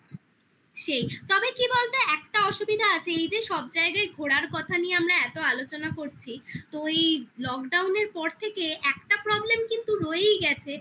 সেই তবে কি বলতো একটা অসুবিধা আছে এই যে সব জায়গায় ঘোরার কথা নিয়ে আমরা এত আলোচনা করছি তো এই lockdown এ পর থেকে একটা problem কিন্তু রয়েই গেছে